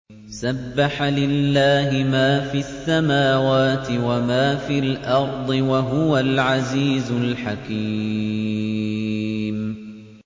سَبَّحَ لِلَّهِ مَا فِي السَّمَاوَاتِ وَمَا فِي الْأَرْضِ ۖ وَهُوَ الْعَزِيزُ الْحَكِيمُ